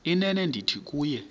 inene ndithi kuwe